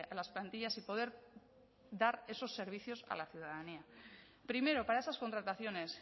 las plantillas y poder dar esos servicios a la ciudadanía primero para esas contrataciones